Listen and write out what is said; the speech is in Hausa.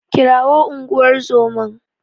Kirawo unguwar zoman.